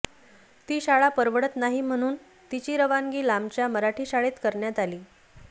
ती शाळा परवडत नाही म्हणून तिची रवानगी लांबच्या मराठी शाळेत करण्यात आली